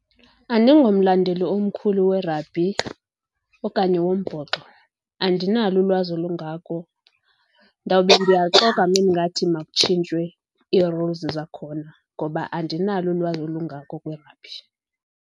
Andingomlandeli omkhulu werabhi okanye wombhoxo. Andinalo ulwazi olungako, ndawube ndiyaxoka ume ndingathi makutshintshwe ii-rules zakhona ngoba andinalo ulwazi olungako kwirabhi.